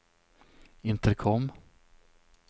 intercom